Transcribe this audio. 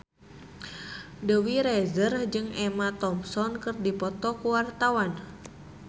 Dewi Rezer jeung Emma Thompson keur dipoto ku wartawan